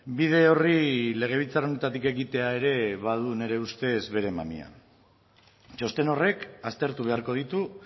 bide orri legebiltzar honetatik egitea ere badu nire ustez bere mamia txosten horrek aztertu beharko ditu